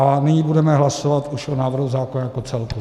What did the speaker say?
A nyní budeme hlasovat už o návrhu zákona jako celku.